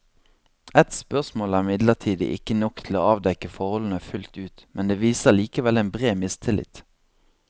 Ett spørsmål er imidlertid ikke nok til å avdekke forholdene fullt ut, men det viser likevel en bred mistillit.